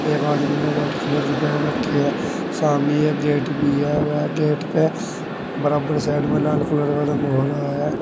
एक आदमी ने व्हाइट कलर की पहन रखी है सामने एक गेट भी है वह गेट पे बराबर साइड में लाल कलर रंग भरा है।